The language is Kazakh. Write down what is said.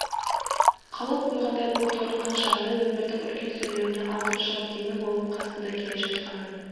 қалып қойғандай боп торыққан шағында өмірдің үлкен сүрлеуіне алып шығып демеу болып қасында келе жатқанын